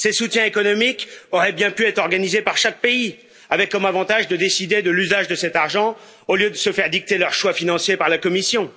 Ces soutiens économiques auraient bien pu être organisée par chaque pays, avec comme avantage de décider de l'usage de cet argent au lieu de se faire dicter leurs choix financiers par la Commission.